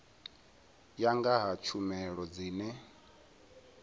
ya nga ha tshumelo dzine